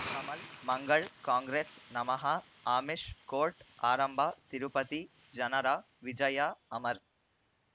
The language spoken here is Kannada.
ಕಮಲ್ ಮಂಗಳ್ ಕಾಂಗ್ರೆಸ್ ನಮಃ ಆಮಿಷ್ ಕೋರ್ಟ್ ಆರಂಭ ತಿರುಪತಿ ಜನರ ವಿಜಯ ಅಮರ್